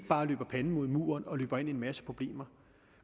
bare løber panden mod en mur og løber ind i en masse problemer